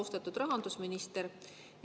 Austatud rahandusminister!